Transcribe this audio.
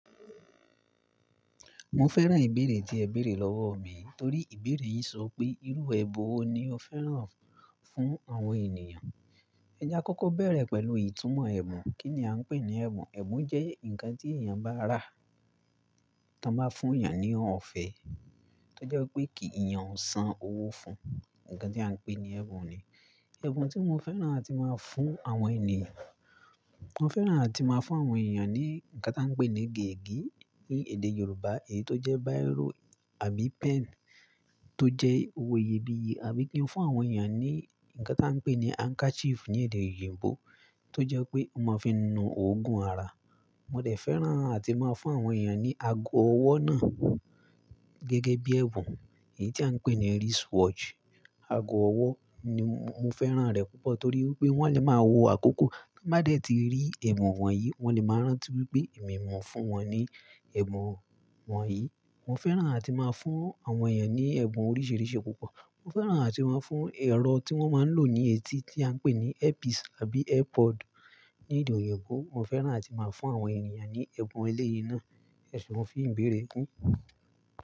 Mo fẹ́ràn ìbéèrè tí ẹ béèrè lọ́wọ́ mi, torí ìbéèrè yìí so pé irú ẹbùn wo ni o fẹ́ràn fún àwọn ènìyàn. Ẹjà àkọ́kọ́ bẹ̀rẹ̀ pẹ̀lú ìtumọ̀ ẹ̀bùn. Kí ni à ń pè ní ẹ̀bùn? Ẹ̀bùn jẹ́ ǹkan tí èèyàn bá rà, tí wọ́n bá fún èèyàn ní ọ̀fẹ́, tó jẹ́ pé kí èèyàn san owó fún un, ǹkan tí à ń pè ní ẹ̀bùn ni. Ẹ̀bùn tí mo fẹ́ràn àti máa ń fún àwọn ènìyàn, mo fẹ́ràn àti máa ń fún àwọn èèyàn ní ǹkan tí à ń pè ní gègé ní èdè Yorùbá, èyí tó jẹ́ bírò àbí pen tó jẹ́ owo iyebiye, àbí kí n fún àwọn èèyàn ní ǹkan tí à ń pè ní "handkerchief" ní èdè òyìnbó, tó jẹ́ pé wọ́n máa fi nu òògùn ara. Mo dẹ̀ fẹ́ràn àti máa ń fún àwọn èèyàn ní ago ọwọ́ náà gẹ́gẹ́ bí ẹ̀bùn, èyí tí à ń pè ní "wristwatch". Ago ọwọ́ ni mo fẹ́ràn rẹ̀ púpọ̀ torí pé wọ́n lè máa wo àkókò, wọ́n bá dẹ̀ ti rí ẹ̀bùn wọ̀nyí, wọ́n lè máa rántí wípé èmi mọ̀ fún wọn ní ẹ̀bùn wọ̀nyí. Mo fẹ́ràn àti máa ń fún àwọn èèyàn ní ẹ̀bùn oríṣìíríṣìí púpọ̀. Mo fẹ́ràn àti máa ń fún ẹrọ tí wọ́n máa ń lò ní etí tí à ń pè ní earpiece àbí earpod ní èdè òyìnbó. Mo fẹ́ràn àti má ń fún àwọn ènìyàn ní ẹ̀bùn eléyìí náà. Ẹ̀ṣeùn fun ìbéèrè yin.